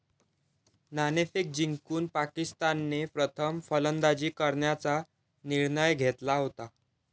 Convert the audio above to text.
नाणेफेक जिंकून पाकिस्तानने प्रथम फलंदाजी करण्याचा निर्णय घेतला होता.